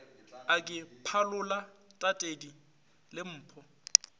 a ke phalola tatedi lempo